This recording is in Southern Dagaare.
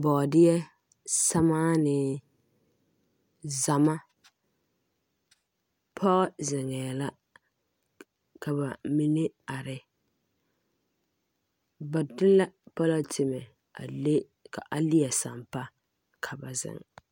Bɔɔdeɛ, sermaane, zama pɔɔ zeŋɛɛ la ka ba mine are ba de la polotemɛ a le ka a leɛ sampaa ka ba zeŋ.